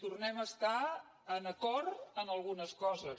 tornem a estar d’acord en algunes coses